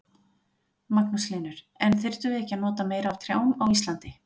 Magnús Hlynur: En þyrftum við ekki að nota meira af trjám á Íslandi?